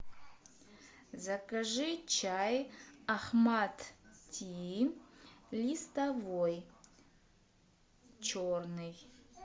закажи чай ахмад ти листовой черный